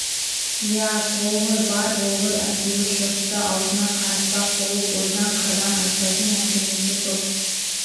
иә сол ғой бар болғыр әйтеуір жұртты аузына қаратпақ болып ойдан қырдан айтпайтын әңгімесі жоқ